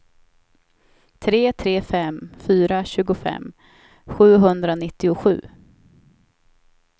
tre tre fem fyra tjugofem sjuhundranittiosju